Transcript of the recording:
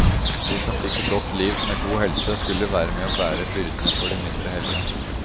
De som fikk et godt liv med god helse, skulle være med og bære byrdene for de mindre heldige.